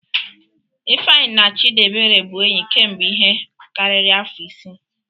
Ifeanyi na Chdiebere bụ enyi kemgbe ihe karịrị afọ isii.